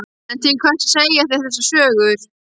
En til hvers að segja þér þessar sögur?